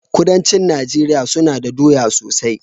Kudancin nageria suna da doya sosai